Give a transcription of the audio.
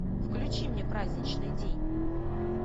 включи мне праздничный день